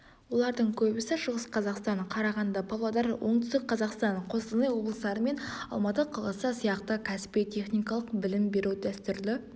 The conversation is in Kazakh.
олардың көбісі шығыс қазақстан қарағанды павлодар оңтүстік қазақстан қостанай облыстары мен алматы қаласы сияқты кәсіби техникалық білім беру дәстүрлі